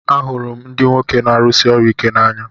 Ahụrụ m ndị nwoke na-arụsi ọrụ ike n'anya